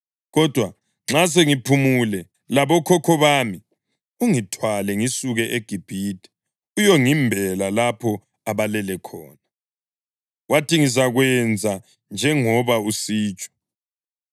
kodwa nxa sengiphumule labokhokho bami, ungithwale ngisuke eGibhithe uyongimbela lapho abalele khona.” Wathi, “Ngizakwenza njengoba usitsho.”